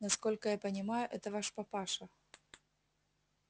насколько я понимаю это ваш папаша